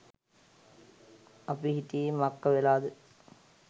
අපි හිටියෙ මක්ක වෙලාද